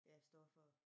Ja stoffer